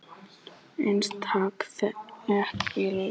Einstaka þéttbýliskjarnar hafa risið upp kringum jarðhitasvæði.